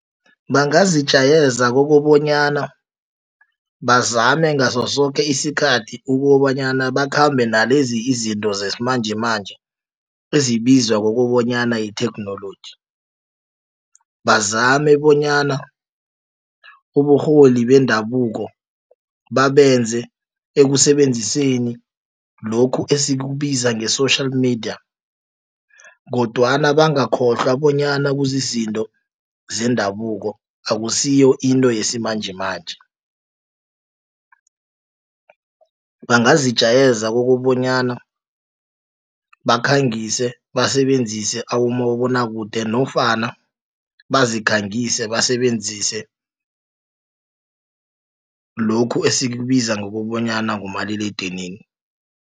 Bangazijayeza kokobanyana bazame ngaso soke isikhathi ukobanyana bakhambe nalezi izinto zesimanjemanje ezibizwa kokobanyana yitheknoloji. Bazame bonyana uburholi bendabuko babenze ekusebenziseni lokhu esikubiza nge-social media kodwana bangakhohlwa bonyana kuzizinto zendabuko akusiyo into yesimanjemanje. Bangazijayeza ukobanyana bakhangise basebenzise abomabonwakude nofana bazikhangise basebenzise lokhu esikubiza ngokobanyana ngumaliledinini.